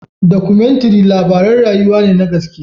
Dokumentary labaran rayuwa ne na gaske.